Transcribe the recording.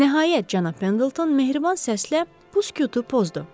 Nəhayət, cənab Pendleton mehriban səslə bu sükutu pozdu.